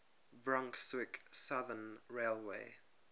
brunswick southern railway